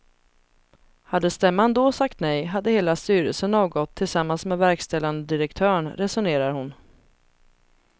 Hade stämman då sagt nej hade hela styrelsen avgått tillsammans med verkställande direktören, resonerar hon.